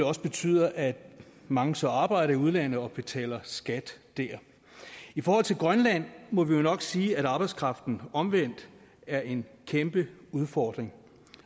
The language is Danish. også betyder at mange så arbejder i udlandet og betaler skat der i forhold til grønland må vi jo nok sige at arbejdskraften omvendt er en kæmpe udfordring